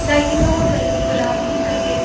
लाइटिंगो का कलर गुलाबी सफेद--